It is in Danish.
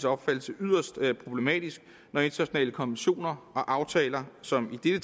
opfattelse yderst problematisk når internationale konventioner og aftaler som i